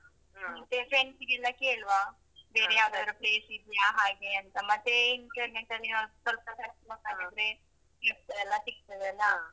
ಮತ್ತೆ friends ಗೆಲ್ಲ ಕೇಳುವ ಬೇರೆ ಯಾವದಾದ್ರು place ಇದೆಯಾ ಹಾಗೆ ಅಂತ ಮತ್ತೇ internet ಅಲ್ಲಿ ಹಾಕಿ ಸ್ವಲ್ಪ search ಮಾಡಿದ್ರೆ ಇರ್ತದೆಲ್ಲಾ ಸಿಕ್ತದೆಲ್ಲಾ.